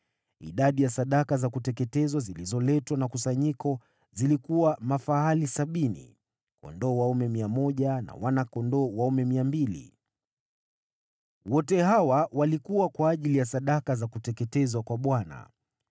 Idadi ya sadaka za kuteketezwa zilizoletwa na kusanyiko zilikuwa mafahali sabini, kondoo dume 100 na wana-kondoo dume 200. Wote hawa walikuwa kwa ajili ya sadaka za kuteketezwa kwa Bwana .